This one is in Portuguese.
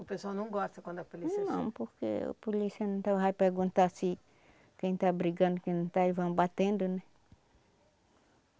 O pessoal não gosta quando a polícia chega... Não, porque a polícia então vai perguntar se quem está brigando, quem não está, eles vão batendo, né?